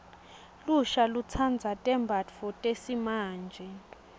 lusha lutsandza tembatfo eesimante